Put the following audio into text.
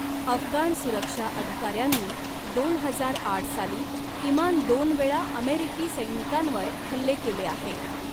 अफगाण सुरक्षा अधिकाऱ्यांनी दोन हजार आठ साली किमान दोनवेळा अमेरिकी सैनिकांवर हल्ले केले आहेत.